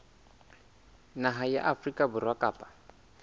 naha ya afrika borwa kapa